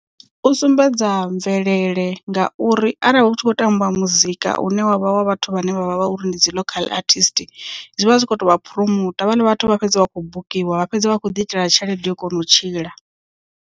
U sumbedza mvelele ngauri arali hu tshi khou tambiwa muzika une wavha wa vhathu vhane vha vha vha uri ndi dzi local artist zwivha zwi kho tovha phuromota havhaḽa vhathu vha fhedza vha khou bukiwa vha fhedza vha kho ḓi itela tshelede yo kona u tshila.